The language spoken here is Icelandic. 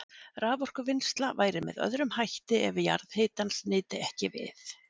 Raforkuvinnsla væri með öðrum hætti ef jarðhitans nyti ekki við.